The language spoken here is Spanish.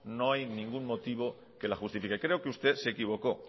no hay ningún motivo que la justifique creo que usted se equivocó